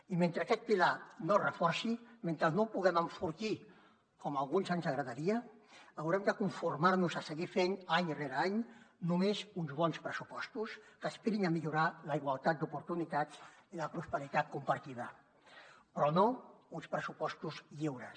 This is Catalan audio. i mentre aquest pilar no es reforci mentre no el puguem enfortir com a alguns ens agradaria haurem de conformar nos a seguir fent any rere any només uns bons pressupostos que aspirin a millorar la igualtat d’oportunitats i la prosperitat compartida però no uns pressupostos lliures